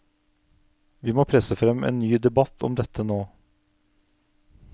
Vi må presse frem en ny debatt om dette nå.